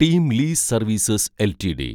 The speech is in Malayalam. team lease services LTD